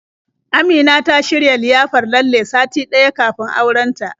Amina ta shirya liyafar lalle sati ɗaya kafin auren ta.